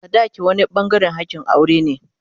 sadaki wani bangaren hakin aure ne.